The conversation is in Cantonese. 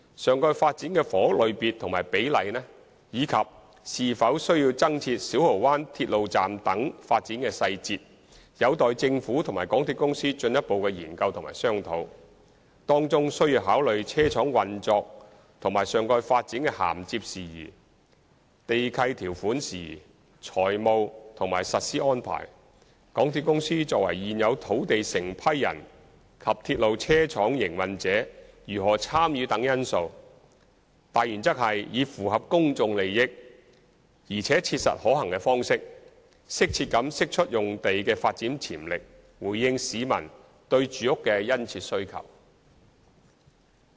上蓋發展的房屋類別及比例，以及是否需要增設小蠔灣鐵路站等發展細節，有待政府及港鐵公司進一步研究和商討，當中需要考慮車廠運作和上蓋發展的銜接事宜、地契條款事宜、財務和實施安排、港鐵公司作為現有土地承批人及鐵路車廠營運者如何參與等因素，大原則是以符合公眾利益，而且切實可行的方式，適切地釋出用地的發展潛力，回應市民對住屋的殷切需求。